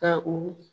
Ka u